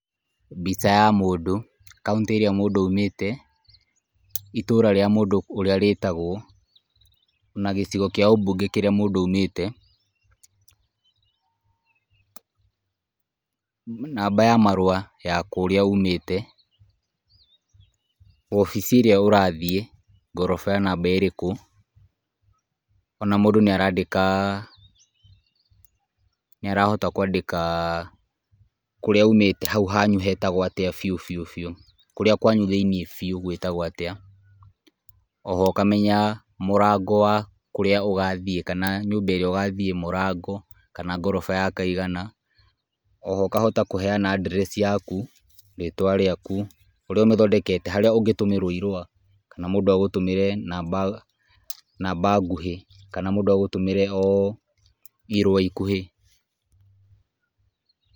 Mbica ya mũndũ, kaũntĩ ĩrĩa mũndũ aumĩte, itũũra rĩa mũndũ ũrĩa rĩtagwo na gĩcigo kĩa ũmbunge kũrĩa mũndũ aumĩte, namba ya marũa ya kũrĩa umĩte , wabici ĩrĩa ũrathiĩ, ngoroba namba ĩrĩkũ ona mũndũ nĩ arandĩka, nĩ arahota kwandĩka hau hangĩ biũ biũ biũ, kũrĩa kwanyu thĩinĩ biũ gwĩtagwo atĩa, oho ũkamenya mũrango wa kũrĩa ũgathiĩ kana nyũmba ĩrĩa ũgathiĩ mũrango kana ngoroba ya kaigana, oho ũkahota kũheana address yaku, rĩtwa rĩaku ũrĩa ũmĩthondekete kana harĩa mũndũ angĩgũtũmĩra irũa, kana mũndũ agũtũmĩre namba nguhĩ kana mũndũ agũtũmĩre irũa ikuhĩ